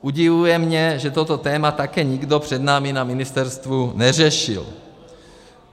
Udivuje mě, že toto téma také nikdo před námi na ministerstvu neřešil.